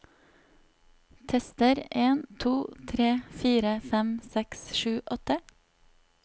Tester en to tre fire fem seks sju åtte